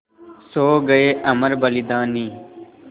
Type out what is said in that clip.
सो गये अमर बलिदानी